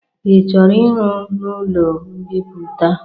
Ị chọrọ iru n'ụlo mbipụta?